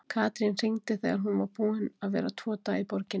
Katrín hringdi þegar hún var búin að vera tvo daga í borginni.